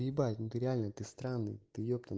ебать ну реально ты странный ты